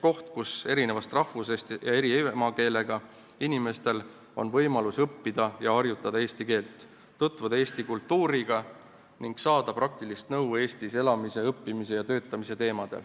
Koht, kus eri rahvusest ja eri emakeelega inimestel on võimalik õppida ja harjutada eesti keelt, tutvuda Eesti kultuuriga ning saada praktilist nõu Eestis elamise, õppimise ja töötamise kohta.